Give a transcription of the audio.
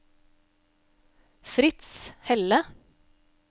Fritz Helle